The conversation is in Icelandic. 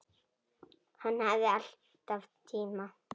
Hann hafði alltaf tíma.